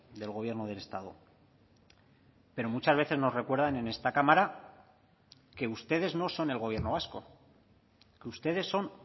del gobierno del estado pero muchas veces nos recuerdan en esta cámara que ustedes no son el gobierno vasco que ustedes son